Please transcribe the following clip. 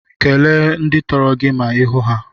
Kele ndị tọrọ gị ma ihu ha.